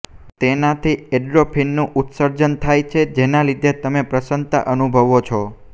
તેનાથી એંડ્રોફિનનું ઉત્સર્જન થાય છે જેના લીધે તમે પ્રસન્નતા અનુભવવો છે